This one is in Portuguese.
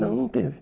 Não, não teve.